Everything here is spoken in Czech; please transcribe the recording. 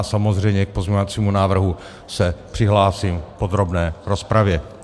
A samozřejmě k pozměňovacího návrhu se přihlásím v podrobné rozpravě.